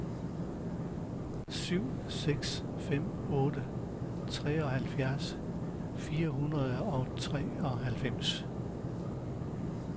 syv seks fem otte treoghalvfjerds fire hundrede og treoghalvfems